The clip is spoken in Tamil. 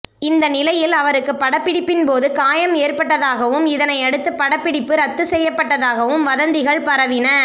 இந்த நிலையில் அவருக்கு படப்பிடிப்பின்போது காயம் ஏற்பட்டதாகவும் இதனை அடுத்து படப்பிடிப்பு ரத்து செய்யப்பட்டதாகவும் வதந்திகள் பரவின